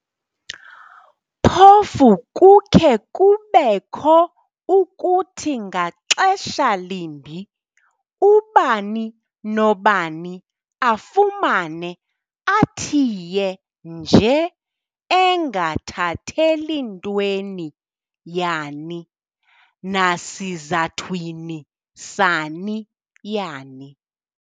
Phofu kukhe kube kho ukuthi ngaxesha limbi ubani nobani afumane athiye nje engathatheli ntweni yani nasizathwini sani yani.